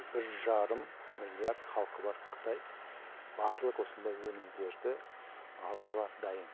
бір жарым миллиард халқы бар қытай барлық осындай өнімдерді алуға дайын